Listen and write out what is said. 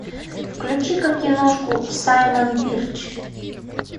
включи ка киношку саймон бирч